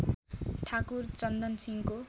ठाकुर चन्दन सिंहको